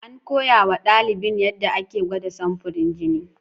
An koya wa ɗalibin yadda ake gwada samfurin jini.